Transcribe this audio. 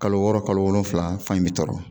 Kalo wɔɔrɔ kalo wolonwula fan in bɛ tɔrɔ